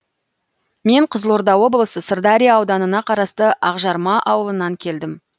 мен қызылорда облысы сырдария ауданына қарасты ақжарма ауылынан келдім